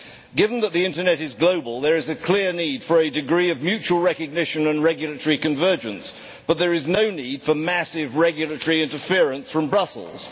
Given that the Internet is global, there is a clear need for a degree of mutual recognition and regulatory convergence but there is no need for massive regulatory interference from Brussels.